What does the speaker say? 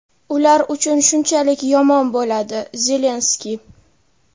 ular uchun shunchalik yomon bo‘ladi – Zelenskiy.